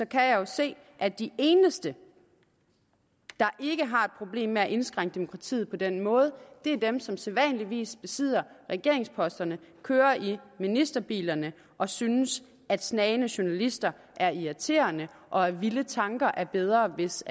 kan jeg jo se at de eneste der ikke har problemer med at indskrænke demokratiet på den måde er dem som sædvanligvis besidder regeringsposterne kører i ministerbilerne og synes at snagende journalister er irriterende og at vilde tanker er bedre hvis